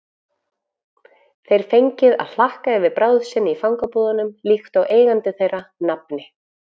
þeir fengið að hlakka yfir bráð sinni í fangabúðunum líkt og eigandi þeirra, nafni